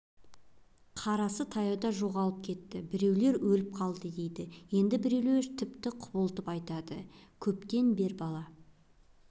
қарасы таяуда жоғалып кетті біреулер өліп қалды дейді енді біреулер тіпті құбылтып айтады көптен бер бала